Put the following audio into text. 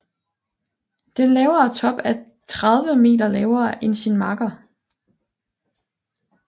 Den lavere top er 30 meter lavere end sin makker